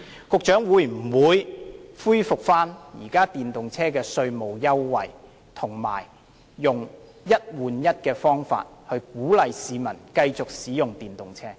局長會否恢復現有的電動車稅務優惠，並以"一換一"的優惠方法來鼓勵市民繼續使用電動車？